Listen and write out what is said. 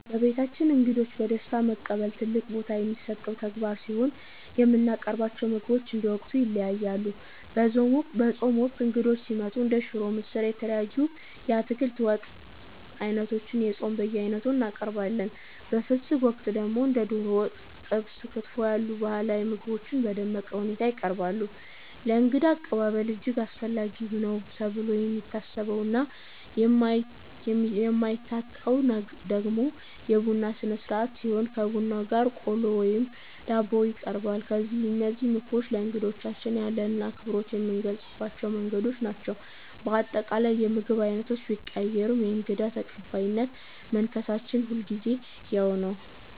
በቤታችን እንግዶችን በደስታ መቀበል ትልቅ ቦታ የሚሰጠው ተግባር ሲሆን፣ የምናቀርባቸው ምግቦች እንደ ወቅቱ ይለያያሉ። በጾም ወቅት እንግዶች ሲመጡ እንደ ሽሮ፣ ምስር፣ እና የተለያዩ የአትክልት ወጥ ዓይነቶችን (የጾም በየዓይነቱ) እናቀርባለን። በፍስግ ወቅት ደግሞ እንደ ዶሮ ወጥ፣ ጥብስ እና ክትፎ ያሉ ባህላዊ ምግቦች በደመቀ ሁኔታ ይቀርባሉ። ለእንግዳ አቀባበል እጅግ አስፈላጊ ነው ተብሎ የሚታሰበውና የማይታጣው ደግሞ የቡና ሥርዓት ሲሆን፣ ከቡናው ጋር ቆሎ ወይም ዳቦ ይቀርባል። እነዚህ ምግቦች ለእንግዶቻችን ያለንን አክብሮት የምንገልጽባቸው መንገዶች ናቸው። በአጠቃላይ፣ የምግብ ዓይነቶቹ ቢቀያየሩም የእንግዳ ተቀባይነት መንፈሳችን ሁልጊዜም ያው ነው።